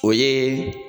O ye